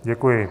Děkuji.